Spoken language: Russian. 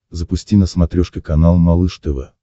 запусти на смотрешке канал малыш тв